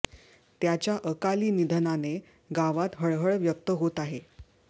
त्याच्या अकाली निधनाने गावात हळहळ व्यक्त होत आहे